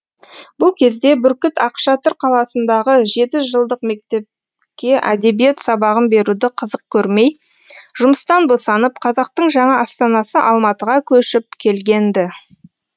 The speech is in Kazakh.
бұл кезде бүркіт ақшатыр қаласындағы жетіжылдық мектепке әдебиет сабағын беруді қызық көрмей жұмыстан босанып қазақтың жаңа астанасы алматыға көшіп келген ді